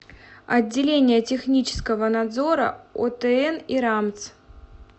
отделение технического надзора отн и рамтс